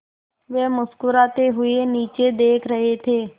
वे मुस्कराते हुए नीचे देख रहे थे